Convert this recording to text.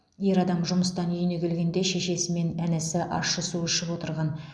ер адам жұмыстан үйіне келгенде шешесі мен інісі ащы су ішіп отырған